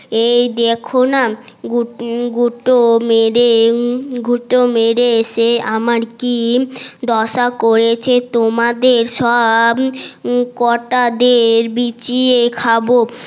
এই দেখো না গুঁতো মেরে গুঁতো মেরে সে আমার কি দশা করেছে তোমাদের সবকটা দের বিচিয়ে খাবো